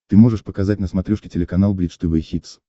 ты можешь показать на смотрешке телеканал бридж тв хитс